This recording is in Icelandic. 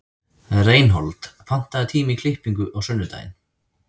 Reinhold, pantaðu tíma í klippingu á sunnudaginn.